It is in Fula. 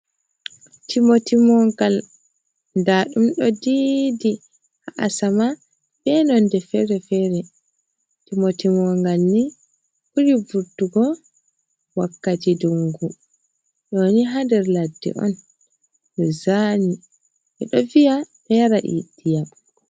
Timotimogal ndaɗum ɗo didi ha asama be nonde fere-fere Timotimongal ni ɓuri vurtugo wakkati dungu doni ha nder ladde on je zaani. Ɓe ɗo vi'a, ɗo yara iyam.